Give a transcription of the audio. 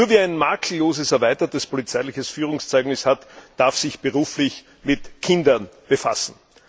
Nur wer ein makelloses erweitertes polizeiliches Führungszeugnis hat, darf sich beruflich mit Kindern befassen.